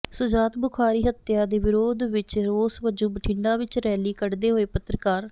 ਸ਼ੁਜਾਤ ਬੁਖਾਰੀ ਹੱਤਿਆ ਦੇ ਵਿਰੋਧ ਵਿੱਚ ਰੋਸ ਵਜੋਂ ਬਠਿੰਡਾ ਵਿੱਚ ਰੈਲੀ ਕੱਢਦੇ ਹੋਏ ਪੱਤਰਕਾਰ